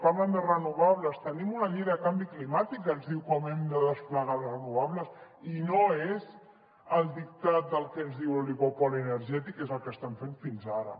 parlen de renovables tenim una llei de canvi climàtic que ens diu com hem de desplegar les renovables i no és el dictat del que ens diu l’oligopoli energètic que és el que estan fent fins ara